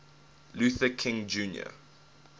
luther king jr